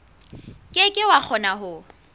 ke ke wa kgona ho